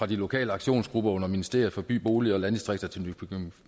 de lokale aktionsgrupper under ministeriet for by bolig og landdistrikter til